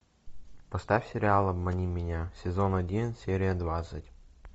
поставь сериал обмани меня сезон один серия двадцать